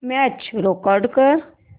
match record कर